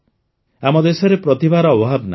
ଆମ ଦେଶରେ ପ୍ରତିଭାର ଅଭାବ ନାହିଁ